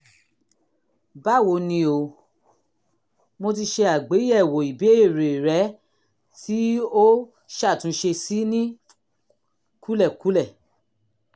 báwo ni o? mo ti se àgbéyẹ̀wò ìbéèrè rẹ tí o ṣàtúnṣe sí ní kúlẹ̀kúlẹ̀